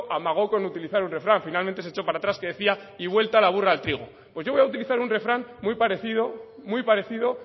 amagó con utilizar un refrán finalmente se echó para atrás que decía y vuelta la burra al trigo pues yo voy a utilizar un refrán muy parecido muy parecido